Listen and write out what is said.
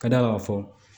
Ka d'a kan ka fɔ